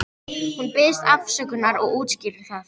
Hún biðst afsökunar og útskýrir það.